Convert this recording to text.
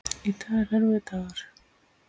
Í dag er erfiður dagur.